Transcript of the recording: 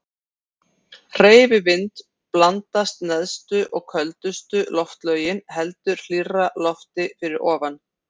Hreyfi vind blandast neðstu og köldustu loftlögin heldur hlýrra lofti fyrir ofan.